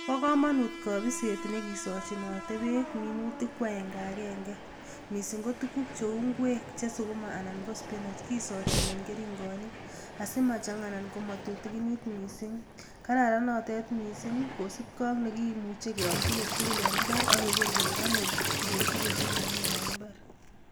Bokomonut kobiset nekisochinote beek minutik ko akeng'akeng'e mising ko tukuk cheu ing'wek Che sukuma anan ko sipinech, kosochin en kering'onik asimajang'a anan ko tutukinit mising, kararan notet mising kosipkee ak nekimuche keom tukuk tukul en imbar ak keker kelee konyor tukuk tukul chekikimin en imbar.